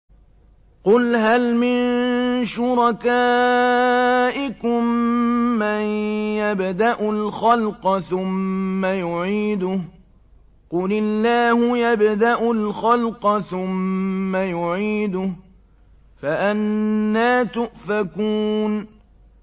قُلْ هَلْ مِن شُرَكَائِكُم مَّن يَبْدَأُ الْخَلْقَ ثُمَّ يُعِيدُهُ ۚ قُلِ اللَّهُ يَبْدَأُ الْخَلْقَ ثُمَّ يُعِيدُهُ ۖ فَأَنَّىٰ تُؤْفَكُونَ